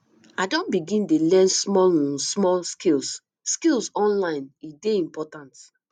i don begin dey learn small um small skills skills online e dey important